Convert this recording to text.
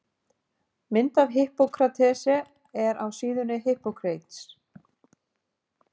Mynd af Hippókratesi er af síðunni Hippocrates.